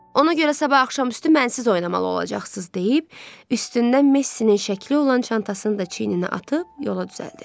Ona görə sabah axşam üstü mənsiz oynamalı olacaqsız deyib, üstündə Messinin şəkli olan çantasını da çiyninə atıb yola düzəldi.